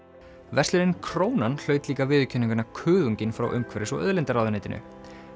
verslunin Krónan viðurkenninguna frá umhverfis og auðlindaráðuneytinu